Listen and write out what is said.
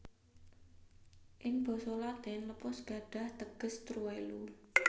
Ing basa Latin lepus gadhah teges truwelu